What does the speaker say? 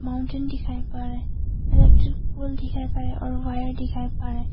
mountain दिखाई पर रा इलेक्ट्रिक पोल दिखाई पड़ रा और वायर दिखाई पड़ रा--